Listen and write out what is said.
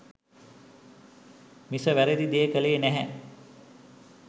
මිස වැරැදි දේ කළේ නැහැ.